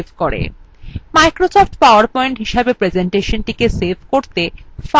microsoft powerpoint হিসাবে প্রেসেন্টেশনthe save করতে